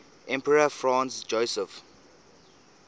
emperor franz joseph